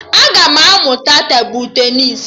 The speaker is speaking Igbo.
Aga m amụta tebụl tenịs